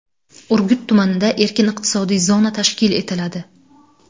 Urgut tumanida erkin iqtisodiy zona tashkil etiladi.